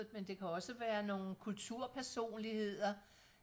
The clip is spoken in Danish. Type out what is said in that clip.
men det kan også være nogle kulturpersonligheder